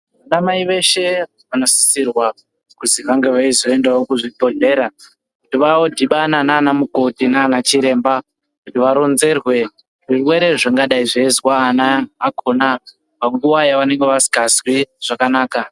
Vanamai veshe vanosisirwa kuzi vange veizoendavo kuzvibhedhlera. Kuti vadhibana nana mukoti nana chiremba kuti varonzerwe zvirwere zvingadai zveizwa ana vakona panguva yavanenge vasikazwi zvakanaka.